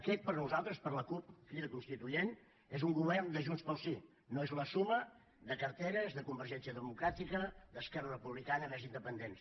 aquest per nosaltres per la cup crida constituent és un govern de junts pel sí no és la suma de carteres de convergència democràtica d’esquerra republicana més independents